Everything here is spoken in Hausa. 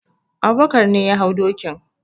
Abubakar ne ya hau dokin.